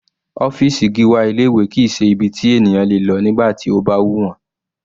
Ọ́fìsì Gíwá ilé ìwé kìí ṣe ibi tí ènìyàn le lọ nígbà tí ó bá wù wọ́n.